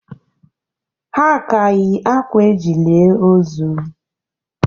Ha ka yi akwa eji lie ozu